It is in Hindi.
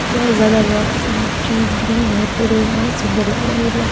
बहुत ज्यादा रॉक्स एंड ट्रीज ग्रीन हैं पुरे बहुत सुंदर लग रहा है एरिया ।